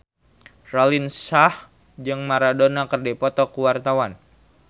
Raline Shah jeung Maradona keur dipoto ku wartawan